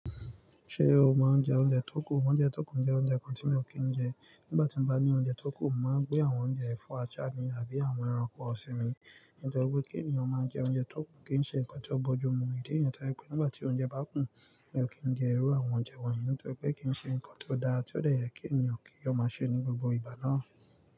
Ṣé o máa ń jẹ oúnjẹ tó kù? Oúnjẹ tó kù jẹ́ oúnjẹ kan tí mi ò kí ń jẹ. Nígbà tí mo bá ní oúnjẹ tó kù, màá gbé àwọn oúnjẹ yẹ̀nbfọ́ àjà ní àbí àwọn ẹranko sí mi. Nítorí pé kí ènìyàn máa jẹ oúnjẹ tó kù kì í ṣe nǹkan tí ó bójú mu. Ìdí eyán ta pé nígbà tí oúnjẹ bá kù, mi ò kí ń jẹ irú àwọn oúnjẹ wọ̀nyí. Nítorí pé kì í ṣe nǹkan tí ó dára tí ó tẹ́lẹ̀ kí ènìyàn kí ó máa ṣe ní gbogbo ìgbà náà.